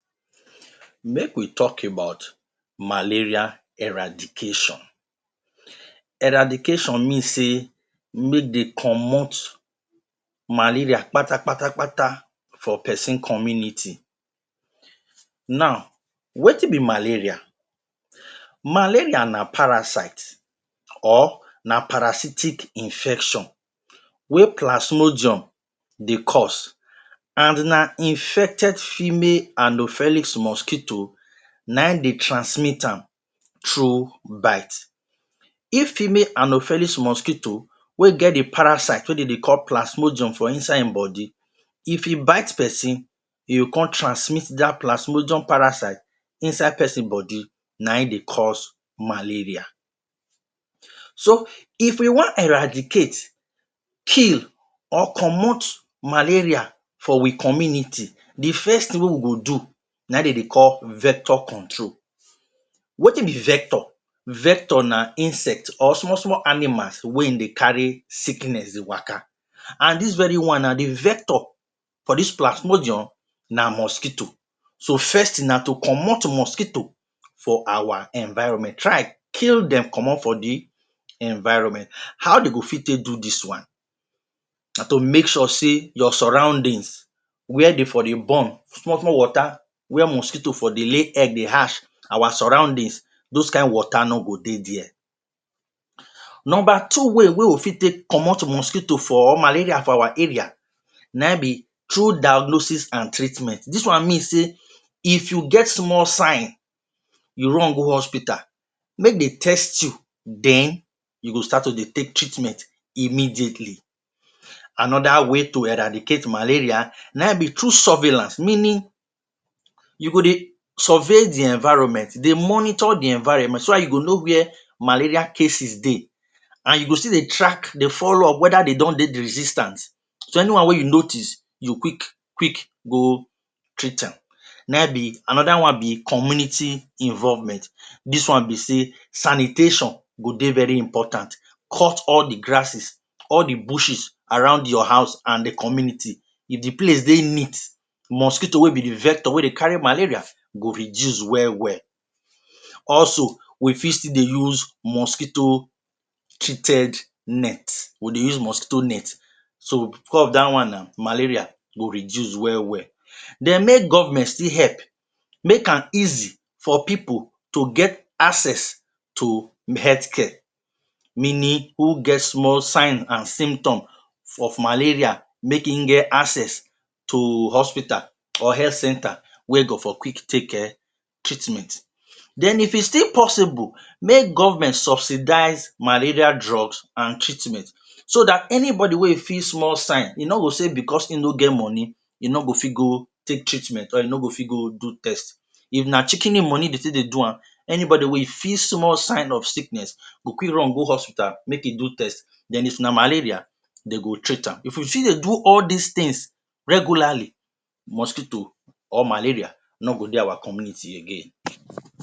Malaria na sickness wey dey common for Nigeria, e common bicos of how environment dey for dis side and how we dey manage some certain situations, dirty water, dirty environment all dis places na breeding ground for malaria. And all of dis, dey affect we di pipu wey dey live inside Nigeria. Some countries don find way to eradicate malaria dey don succeed but for Nigeria we still dey work on am. In oda to celebrate world malaria day, tins don dey in place na bicos of technology on how dem fit eradicate malaria comot for Nigeria. First, to prevent malaria, we need keep our environment clean we need clean gutta, cut Bush remove any stagnant situation or stagnant water wey dey our environment to stop di breeding first of mosquito bicos na di mosquito dey carry di disease, now anoda dey wey dem don bring out to eradicate malaria dis na di malaria vaccine e just come out but dats na anoda way wey you fit eradicate malaria to teach pipu about di vaccines bicos some pipu, dia mind be say na poison dem dey give dem but proper education on dis vaccine go also help make many pipu come out come collect am and dat way malaria go dey control dem go fit prevent am till e fit comot complete. Anoda way to eradicate na through drugs, development of drugs bicos now, malaria don even sabi drugs pipu go take am e no go work, to modify drugs make am emm, modify am pass wetin e bi now so, make e no fit resist di disease dats na anoda way to eradicate malaria. Anoda tin na control. Control strategies dat one include where govment or hospitals, health sector fit share mosquito treated net dat one too na anoda way to eradicate malaria, bicos if every house get dat mosquito net, e dey very ok e dey easy for pipu to dey if malaria no catch dem but if e come dey too expensive or pipu no fit buy am or e no dey enough pipu go just move on, so insecticide treated net anoda way wey fit help eradicate malaria.